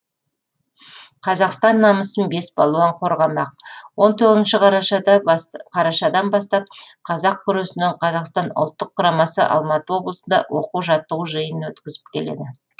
қазақстан намысын бес балуан қорғамақ он тоғызыншы қарашадан бастап қазақ күресінен қазақстан ұлттық құрамасы алматы облысында оқу жаттығу жиынын өткізіп келеді